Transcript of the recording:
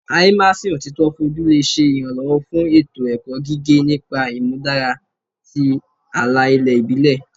Immersion otito foju le ṣe iranlọwọ fun eto-ẹkọ gige nipa imudara ti ala-ilẹ ibile